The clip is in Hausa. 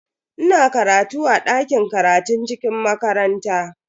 Ina karatu a dakin karatun cikin makaranta.